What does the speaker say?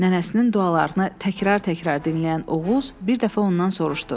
Nənəsinin dualarını təkrar-təkrar dinləyən Oğuz bir dəfə ondan soruşdu: